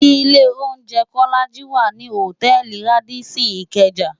Ilé óunjè Kólàjí wá ni hótèlí Rádìsín Ikeja